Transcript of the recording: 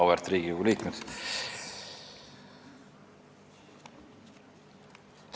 Auväärt Riigikogu liikmed!